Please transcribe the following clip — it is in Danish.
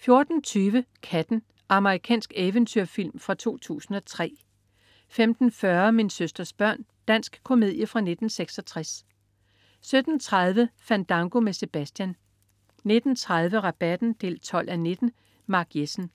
14.20 Katten. Amerikansk eventyrfilm fra 2003 15.40 Min søsters børn. Dansk komedie fra 1966 17.30 Fandango med Sebastian 19.30 Rabatten 12:19. Mark Jessen